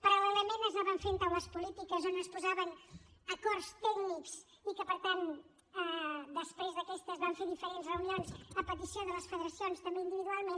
paral·lelament s’anaven fent taules polítiques on es posaven acords tècnics i per tant després aquestes van fer diferents reunions a petició de les federacions també individualment